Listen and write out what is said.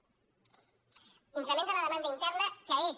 increment de la demanda interna que és